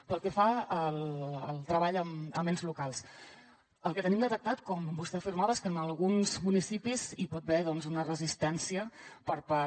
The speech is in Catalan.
pel que fa al treball amb ens locals el que tenim detectat com vostè afirmava és que en alguns municipis hi pot haver doncs una resistència per part